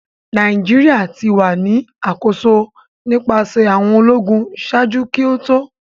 Nigeria ti wa ni akoso nipasẹ awọn ologun ṣaaju ki o to